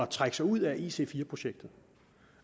trække sig ud af ic4 projektet